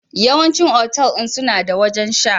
Yawancin otal ɗin suna da wajen sha